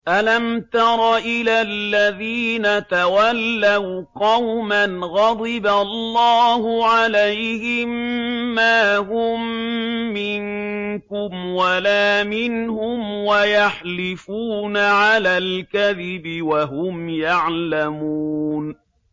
۞ أَلَمْ تَرَ إِلَى الَّذِينَ تَوَلَّوْا قَوْمًا غَضِبَ اللَّهُ عَلَيْهِم مَّا هُم مِّنكُمْ وَلَا مِنْهُمْ وَيَحْلِفُونَ عَلَى الْكَذِبِ وَهُمْ يَعْلَمُونَ